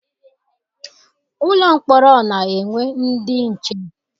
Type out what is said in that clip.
Ụlọ mkpọrọ na-enwe ndị nche.